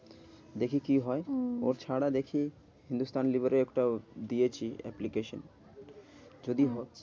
দেখি কি হয়? ওহ ওছাড়া দেখি হিন্দুস্তান লিভার এ একটা দিয়েছি application. যদি হ্যাঁ হয়।